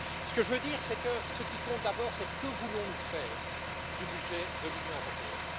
Ce que je veux dire, c'est que ce qui compte d'abord, c'est ce que nous voulons faire du budget de l'Union européenne.